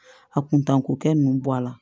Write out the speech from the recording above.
A kuntan ko kɛ nunnu bɔ a la